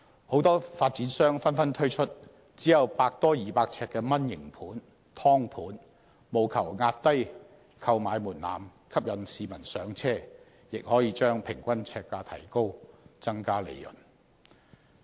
許多發展商紛紛推出只有百多二百呎的"蚊型盤"、"劏盤"，務求壓低購買門檻，吸引市民"上車"，亦可將平均呎價提高，增加利潤。